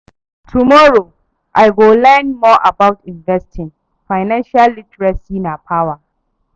Tomorrow, I go learn more about investing, financial literacy na power